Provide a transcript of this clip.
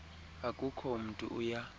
akukho mntu uya